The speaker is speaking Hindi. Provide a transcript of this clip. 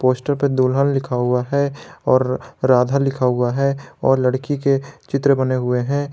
पोस्टर पे दुल्हन लिखा हुआ है और राधा लिखा हुआ है और लड़की के चित्र बने हुए हैं।